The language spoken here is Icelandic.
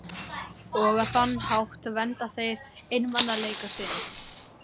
Og á þann hátt vernda þeir einmanaleika sinn.